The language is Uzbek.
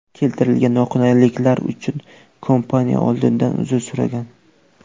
Keltirilgan noqulayliklar uchun kompaniya oldindan uzr so‘ragan.